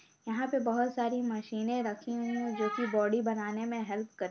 यहाँ पे बहुत सारी मशीनें रखी हुई हैं जोकि बॉडी बनाने में हेल्प कर --